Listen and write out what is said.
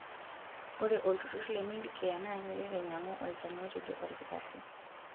Ore olturrur le medicare naa keret ainyang'u olchani otejo olkitarri.